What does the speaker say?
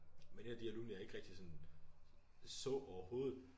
Men en af de alumner jeg ikke rigtig så overhovedet